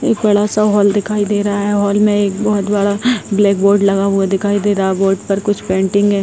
एक बड़ा सा हॉल दिखाए दे रहा है हॉल में एक बहोत बड़ा ब्लैक बोर्ड लगा हुआ दिखाई दे रहा है बोर्ड पर कुछ पेंटिंग है।